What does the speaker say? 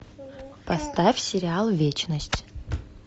поставь сериал вечность